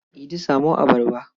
Idi samo abarba.